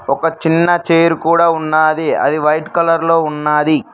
ఒక చిన్న చైరు కూడా ఉన్నది అది వైట్ కలర్ లో ఉన్నది.